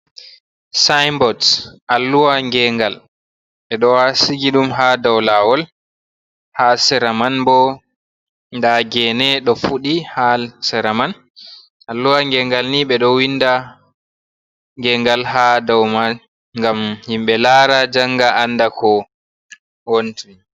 Sainbots alluwa gengal ɓe ɗo sigi ɗum ha dou lawol, ha sera man bo nda geene ɗo fuɗi ha sera man, alluwa gengal ni ɓe ɗo winda gengal ha dou man ngam himɓe laara janga anda ko woni.